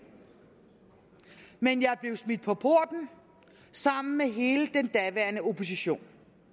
men jeg blev smidt på porten sammen med hele den daværende opposition